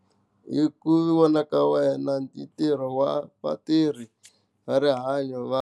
Hi ku vona ka wena ntirho wa vatirhi va rihanyo va.